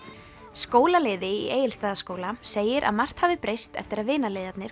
skólaliði í Egilsstaðaskóla segir að margt hafi breyst eftir að